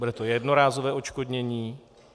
Bude to jednorázové odškodnění?